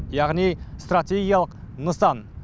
яғни стратегиялық нысан